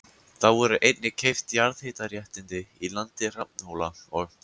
Þá voru einnig keypt jarðhitaréttindi í landi Hrafnhóla og